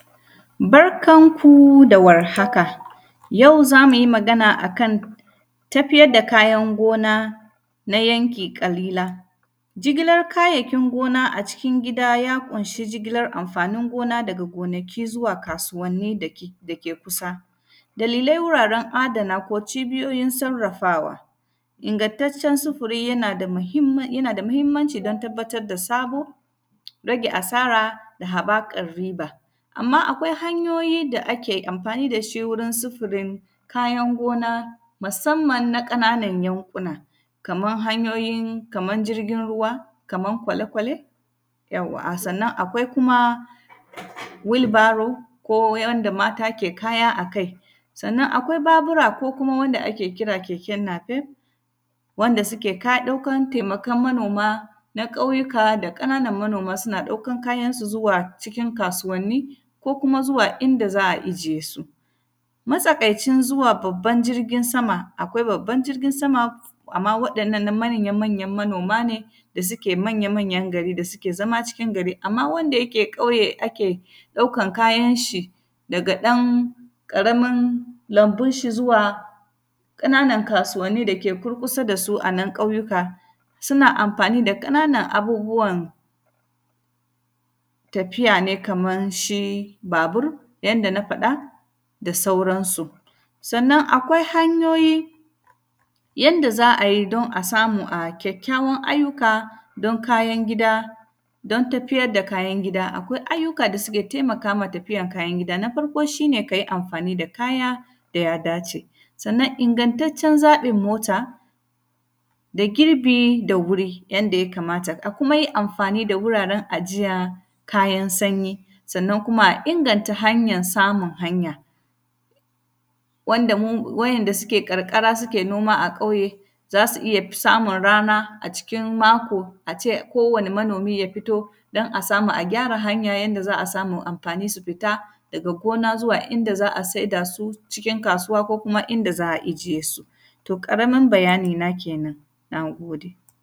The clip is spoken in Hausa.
Barkan ku da warhaka, yau za mu yi magana a kan tafiyar da kayan gona na yanki ƙalila. Jigilar kayayyakin gona a cikin gida, ya ƙunshi jigilar amfanin gona daga gonaki zuwa kasuwanni da ke; da ke kusa. Dalilai wuraren adana ko cibiyoyin sarrafawa, ingantaccen sufiri yana da mahimmin, yana da mahimmanci don tabbatad da sabo, rage asara da habakar riba. Amma, akwai hanyoyi da ake amfani da shi wurin sufirin kayan gona, masamman na ƙananan yanƙuna. Kaman hanyoyin, kaman jirgin ruwa, kaman kwale-kwale, yauwa, a sannan, akwai kuma wilbaro ko wanda mata ke kaya a kai. Sannan, akwai Babura ko kuma wanda ake kira keke nafe, wanda sike ka, ɗokan temakan manoma na ƙauyuka da ƙananan manoma suna ɗokan kayansu zuwa cikin kasuwanni ko kuma zuwa inda za a ijiye su. Matsakaicin zuwa babban jirgin sama, akwai babban jirgin sama, amma waɗannan na manya-manyan manoma ne da sike manya-manyan gari, da sike zama cikin gari. Amma, wanda yake ƙauye ake ɗaukan kayanshi daga ɗan ƙaramin lambinshi zuwa ƙananan kasuwanni da ke kurkusa da su a nan ƙauyuka, suna amfani da ƙananan abubuwan tafiya ne kaman shi babur, yanda na faɗa, da sauransu. Sannan, akwai hanyoyi yanda za a yi don a samu a kyakkyawan ayyuka don kayan gida, don tafiyad da kayan gida. Akwai ayyuka da suke temaka ma tafiyan kayan gida. Na farko, shi ne ka yi amfani da kaya da ya dace, sannan ingantaccen zaƃin mota da girbi da wuri, yanda ya kamata. A kuma yi amfani da wuraren ajiya kayan sanyi, sannan kuma a inganta hanyan samun hanya wanda mun; wa'yanda suke ƙarƙara suke noma a ƙauye, za su iya samun rana a cikin mako, a ce kowane manomi ya fito, don a samu a gyara hanya yanda za a samu amfani su fita daga gona zuwa inda za a saida su, cikin kasuwa ko kuma inda za a ijiye su. To, ƙaramim bayanina kenan, na gode.